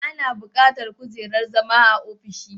Ana bukatar kujerar zama a ofishi